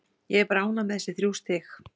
Ég er bara ánægð með þessi þrjú stig.